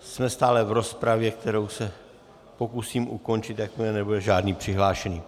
Jsme stále v rozpravě, kterou se pokusím ukončit, jakmile nebude žádný přihlášený.